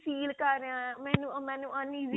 feel ਕਰ ਰਿਹਾ ਹਾਂ mam ਮੈਨੂੰ